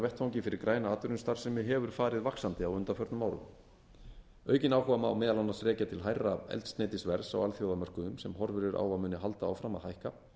ákjósanlegum fjárfestingarvettvangi fyrir græna atvinnustarfsemi hefur farið vaxandi á undanförnum árum aukinn áhuga má meðal annars rekja til hærra eldsneytisverðs á alþjóðamörkuðum sem horfur eru á að muni halda áfram að hækka